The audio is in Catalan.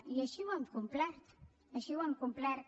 i així ho hem complert així ho hem complert